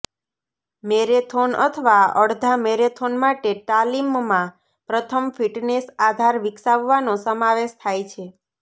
marathon અથવા અડધા marathon માટે તાલીમમાં પ્રથમ ફિટનેસ આધાર વિકસાવવાનો સમાવેશ થાય છે